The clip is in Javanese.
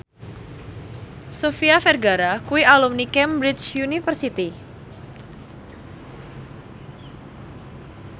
Sofia Vergara kuwi alumni Cambridge University